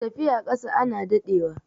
tafiya ƙasa ana daɗewa